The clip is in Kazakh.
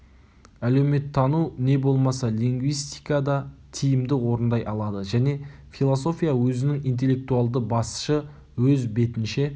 әлеуметтану не болмаса лингвистика да тиімді орындай алады және философия өзінің интеллектуалды басшы өз бетінше